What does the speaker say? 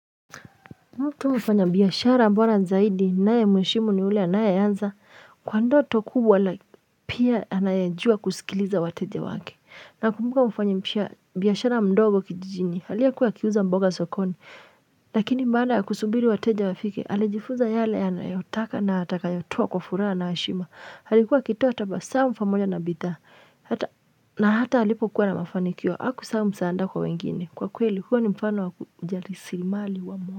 Mtu mfanya biashara bora zaidi nae mwishimu ni ule nae yanza kwa ndoto kubwa ala pia anajua kusikiliza wateja wake. Na kumbuka mfanyi mpia biashara mdogo kijijini halie kuwa kiuza mboga sokoni. Lakini baada kusubiri wateja wafike alijifuza yale anayotaka na ataka yotua kwa fura na ashima. Halikuwa kitoa tabamu mfamoja na bita. Na hata halipo kuwa na mafanikio haku saa msaada kwa wengine. Kwa kue hili kuwa ni mfano wakujali sirimali wa mwa.